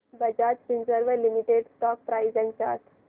Bajaj Finserv limited stock price and chart